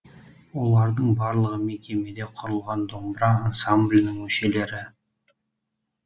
олардың барлығы мекемеде құрылған домбыра ансамблінің мүшелері